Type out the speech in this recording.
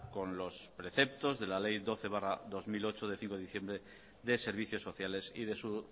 con los preceptos de la ley doce barra dos mil ocho de cinco de diciembre de servicios sociales y de su